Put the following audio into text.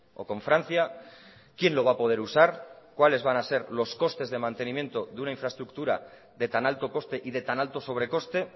o con francia quién lo va a poder usar cuáles van a ser los costes de mantenimiento de una infraestructura de tan alto coste y de tan alto sobrecoste